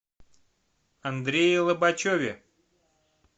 андрее лобачеве